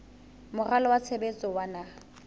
moralo wa tshebetso wa naha